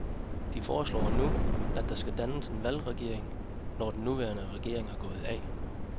De foreslår nu, at der dannes en valgregering, når den nuværende regering går af.